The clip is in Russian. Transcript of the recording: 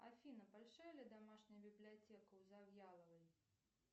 афина большая ли домашняя библиотека у завьяловой